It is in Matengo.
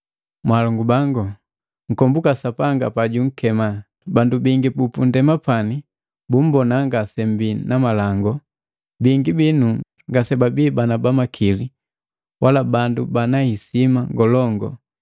Mwalongu bangu, nkombuka Sapanga pajunkema, bandu bingi bupundema pani bumbona ngasembii na malangu, bingi binu ngasebabii bana makili wala bandu banahisima ngolongu.